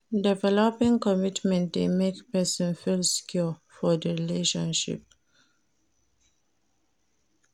Developing commitment de make persin feel secure for di relationship